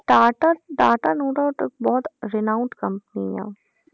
Tata Tata no doubt ਬਹੁਤ renowned company ਆਂ